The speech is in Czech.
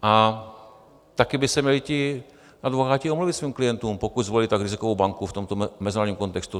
A taky by se měli ti advokáti omluvit svým klientům, pokud zvolili tak rizikovou banku v tomto mezinárodním kontextu.